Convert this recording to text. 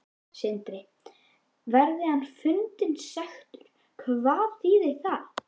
Sindri: Verði hann fundinn sekur, hvað þýðir það?